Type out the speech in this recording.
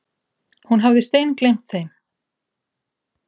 Hún hafði steingleymt þeim.